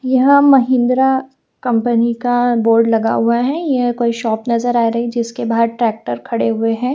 यहां महिंद्रा कंपनी का बोर्ड लगा हुआ है यह कोई शॉप नजर आ रही है जिसके बाहर ट्रैक्टर खड़े हुए हैं।